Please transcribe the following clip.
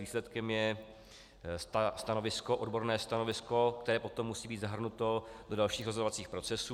Výsledkem je odborné stanovisko, které potom musí být zahrnuto do dalších rozhodovacích procesů.